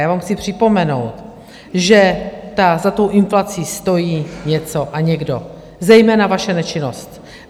Já vám chci připomenout, že za tou inflací stojí něco a někdo - zejména vaše nečinnost.